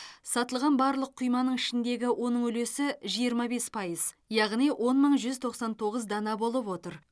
сатылған барлық құйманың ішіндегі оның үлесі жиырма бес пайыз яғни он мың жүз тоқсан тоғыз дана болып отыр